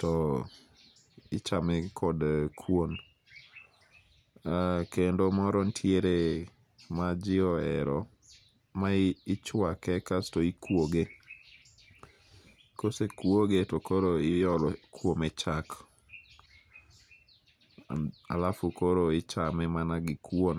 to ichame kod kuon. Kendo moro nitie maji ohero, ma ichuake kasto ikuoge. Kosekuoge to koro iolo kuome chak alafu koro ichame mana gi kuon.